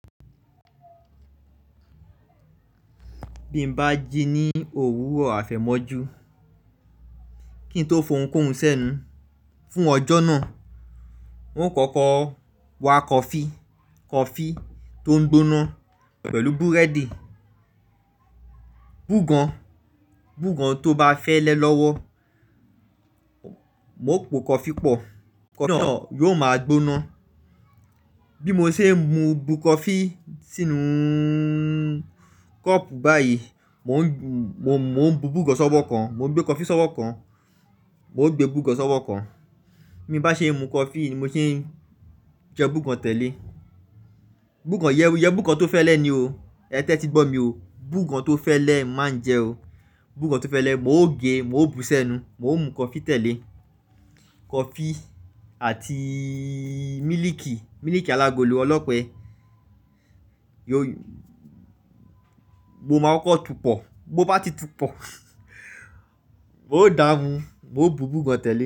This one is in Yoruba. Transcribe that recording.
Bí mo bá jí ní òwúrọ̀ àfẹ̀mọ́jú kí n tó fohunkóhun sẹ́nu fún ọjọ́ náà. N ó kọ́kọ́ wa kọfí, kọfí tó ń gbóná pẹ̀lú búrẹ́dì, bùgan, bùgan tó bá fẹ́lẹ́ lọ́wọ́. Mo po kọfí pọ̀, kọfí náà yóò máa gbóná. Bí mo ṣe ń mu bù kọfí sínú kọ́ọ̀pù báyìí, mò ń, mò ń, mò ń bu bùgan sọ́wọ́ kan, mò ń gbé kọfí sọ́wọ́ kan, mò gbé bùgan sọ́wọ́ kan. Bí mo bá ṣe ń mu kọfí, ni mo ṣe ń jẹ bùgan tẹ̀ lé e. Bùgan yẹ́n, yẹ bùgan tó fẹ́lẹ́ ni o. Ẹ tẹ́tí gbọ́ mi o. Bùgan tó fẹ́lẹ́ má ń jẹ o. Bùgan tó fẹ́lẹ́, mò ń gẹ, mò ń bu sẹ́nu, mò ń mu kọfí tẹ̀ lé e. Kọfí àti mílìkì, mílìkì alágolo ọlọ́pẹ. Yo-- mo máa kọ́kọ́ tù u pọ̀, bó bá ti tú pọ̀, mò ń dá mu, mò ń bu bùgan tẹ̀ lé e.